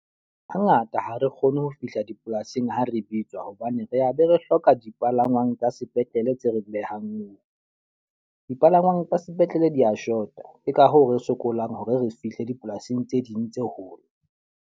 Ha ngata ha re kgone ho fihla dipolasing ha re bitswa. Hobane re be re hloka dipalangwang tsa sepetlele tse re behang moo. Dipalangwang tsa sepetlele di ya short-a, ke ka hoo re sokolang hore re fihle dipolasing tse ding tse hole.